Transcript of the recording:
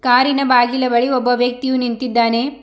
ಕಾರಿನ ಬಾಗಿಲ ಬಳಿ ಓಬ್ಬ ವ್ಯಕ್ತಿಯು ನಿಂತಿದ್ದಾನೆ.